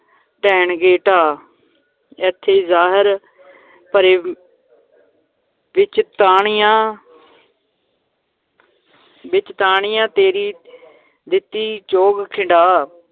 ਦੇਣਗੇ ਢਾ, ਏਥੇ ਜ਼ਹਰ ਭਰੇ ਵਿਚ ਦਾਣਿਆਂ ਵਿੱਚ ਦਾਣਿਆਂ ਤੇਰੀ ਦਿੱਤੀ ਚੋਗ ਖਿੰਡਾ